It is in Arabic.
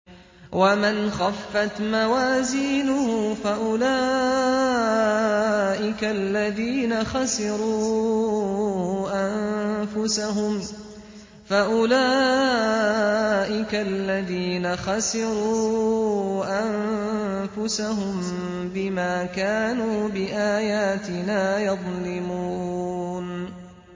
وَمَنْ خَفَّتْ مَوَازِينُهُ فَأُولَٰئِكَ الَّذِينَ خَسِرُوا أَنفُسَهُم بِمَا كَانُوا بِآيَاتِنَا يَظْلِمُونَ